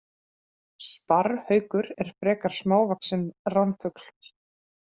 Sparrhaukur er frekar smávaxinn ránfugl.